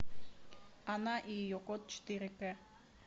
она и ее кот четыре к